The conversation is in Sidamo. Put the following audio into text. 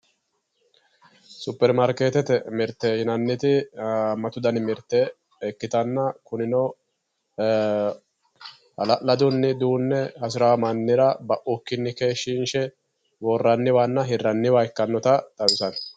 superimaarkeetete mirte yinanniti haammatu dani mirte ikkitanna kunino hala'ladunni duunne hasiraa mannira baukkinni keeshshiinshe worranniwanna hirraniwa ikkannota xawisanno.